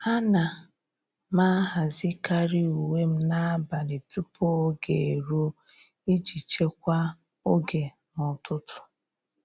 À nà m àhàzị́karị uwe m n’ábàlị̀ tupu ógè érúọ iji chekwaa oge n’ụ́tụ́tụ́.